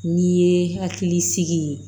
N'i ye hakili sigi